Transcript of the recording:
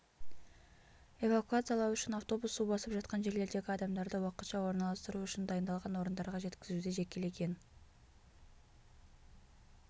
эвакуациялау үшін автобус су басып жатқан жерлердегі адамдарды уақытша орналастыру үшін дайындалған орындарға жеткізуде жекелеген